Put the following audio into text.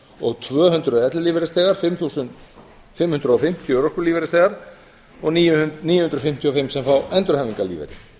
og tvö hundruð ellilífeyrisþegar fimm þúsund fimm hundruð og fimmtíu örorkulífeyrisþegar og níu hundruð fimmtíu og fimm sem fá endurhæfingarlífeyri